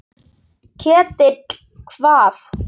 Ketill hvað?